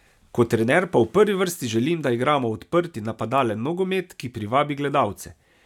Kot trener pa v prvi vrsti želim, da igramo odprt in napadalen nogomet, ki privabi gledalce.